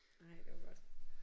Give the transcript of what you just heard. Nej det var godt